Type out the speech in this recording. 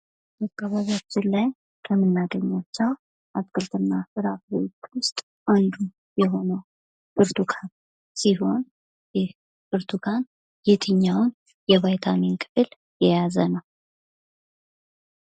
በአካባቢያችን ከምናገኛቸው አትክልትና ፍራፍሬዎች ውስጥ አንዱ የሆነው ብርቱካን ሲሆን ይህ ብርቱካን የትኛውን የቫይታሚን ቅል የያዘ ነው?